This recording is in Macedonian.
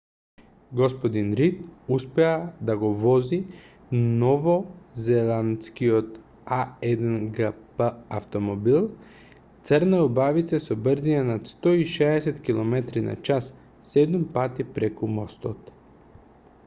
г-дин рид успеа да го вози новозеландскиот а1гп автомобил црна убавица со брзина над 160 км/ч седум пати преку мостот